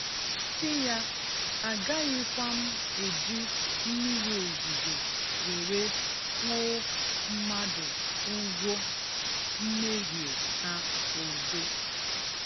Sị ya, a gaghịkwa m ejị mmịrị ozuzo were kwuo mmadụ ugwo mmehie ha ozo.